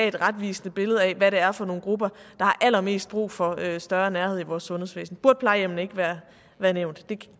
et retvisende billede af hvad det er for nogle grupper der har allermest brug for større nærhed i vores sundhedsvæsen burde plejehjemmene ikke være nævnt